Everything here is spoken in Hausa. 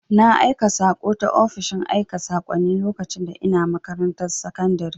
Na aika saƙo ta ofishin aika sakonni lokacin da ina makarantar sakundire